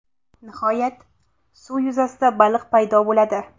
Nihoyat, suv yuzasida baliq paydo bo‘ladi.